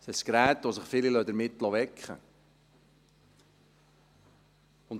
Es ist das Gerät, mit dem sich viele wecken lassen.